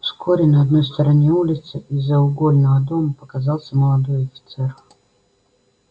вскоре на одной стороне улицы из-за угольного дома показался молодой офицер